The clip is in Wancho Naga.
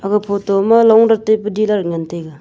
aga photo ma long nak taike dilar ngan tega.